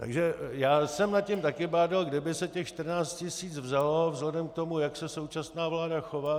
Takže já jsem nad tím také bádal, kde by se těch 14 tisíc vzalo vzhledem k tomu, jak se současná vláda chová.